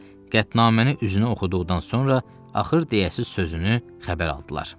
Qətnaməni üzünə oxuduqdan sonra axır deyəsiz sözünü xəbər aldılar.